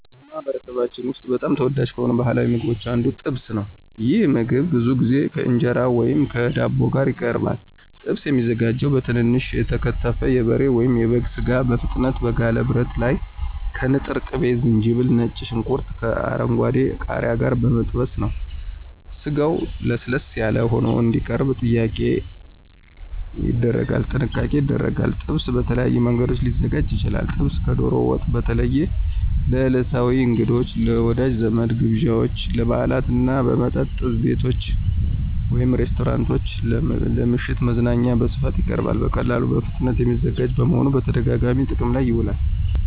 በማኅበረሰባችን ውስጥ በጣም ተወዳጅ ከሆኑት ባሕላዊ ምግቦች አንዱ ጥብስ ነው። ይህ ምግብ ብዙ ጊዜ ከእንጀራ ወይም ከዳቦ ጋር ይቀርባል። ጥብስ የሚዘጋጀው በትንንሽ የተከተፈ የበሬ ወይም የበግ ሥጋ በፍጥነት በጋለ ብረት ላይ ከንጥር ቅቤ፣ ዝንጅብል፣ ከነጭ ሽንኩርትና ከአረንጓዴ ቃሪያ ጋር በመጠበስ ነው። ስጋው ለስለስ ያለ ሆኖ እንዲቀርብ ጥንቃቄ ይደረጋል። ጥብስ በተለያዩ መንገዶች ሊዘጋጅ ይችላል። ጥብስ ከዶሮ ወጥ በተለይ ለዕለታዊ እንግዶች፣ ለወዳጅ ዘመድ ግብዣዎች፣ ለበዓላት እና በመጠጥ ቤቶች (ሬስቶራንቶች) ለምሽት መዝናኛዎች በስፋት ይቀርባል። በቀላሉና በፍጥነት የሚዘጋጅ በመሆኑ በተደጋጋሚ ጥቅም ላይ ይውላል።